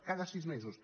cada sis mesos